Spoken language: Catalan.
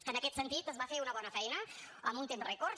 en aquest sentit es va fer una bona feina en un temps rècord